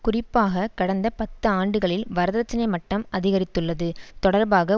குறிப்பாக கடந்த பத்தாண்டுகளில் வரதட்சினை மட்டம் அதிகரித்துள்ளது தொடர்பாக